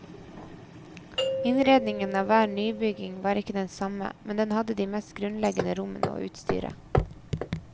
Innredningen av hver nybygging var ikke den samme, men den hadde de mest grunnleggende rommene og utstyret.